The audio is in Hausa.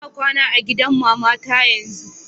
lna kwana a gidan mamata yanzun.